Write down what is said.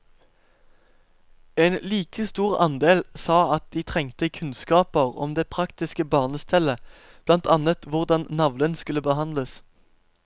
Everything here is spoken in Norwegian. En like stor andel sa at de trengte kunnskaper om det praktiske barnestellet, blant annet hvordan navlen skulle behandles.